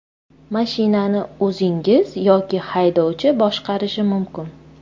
Mashinani o‘zingiz yoki haydovchi boshqarishi mumkin.